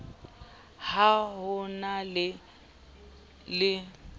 ha ho na le e